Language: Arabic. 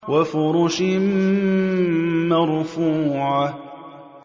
وَفُرُشٍ مَّرْفُوعَةٍ